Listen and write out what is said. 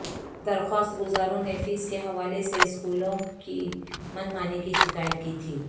درخواست گزاروں نے فیس کے حوالہ سے اسکولوں کی من مانی کی شکایت کی تھی